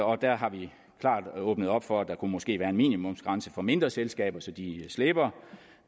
og der har vi klart åbnet op for at der måske kunne være en minimumsgrænse for mindre selskaber så de slipper